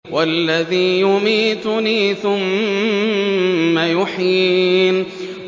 وَالَّذِي يُمِيتُنِي ثُمَّ يُحْيِينِ